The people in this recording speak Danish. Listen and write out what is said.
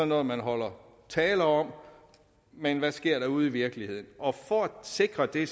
noget man holder taler om men hvad sker der ude i virkeligheden for at sikre det